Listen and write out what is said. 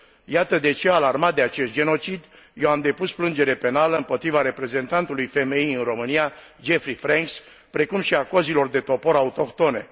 Iată de ce, alarmat de acest genocid, eu am depus plângere penală împotriva reprezentantului FMI în România, Jeffrey Franks, precum și a cozilor de topor autohtone.